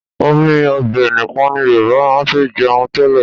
Omi ọbẹ̀ nìkan ni Yorùbá máa ń fi jẹun tẹ́lẹ̀